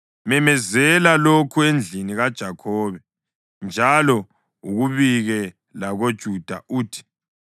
Memezela lokhu endlini kaJakhobe njalo ukubike lakoJuda uthi: